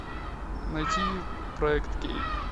найти проект кей